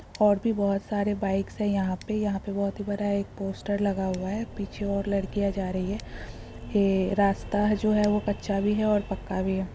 और भी बहुत सारे बाइक्स है यहाँ पे यहाँ पे बहुत ही बड़ा एक पोस्टर लगा हुआ है पीछे और लड़कियां जा रही हैं। ये रास्ता है जो है वो कच्चा भी है और पक्का भी हैं।